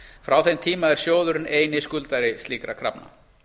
frá þeim tíma er sjóðurinn eini skuldari slíkra krafna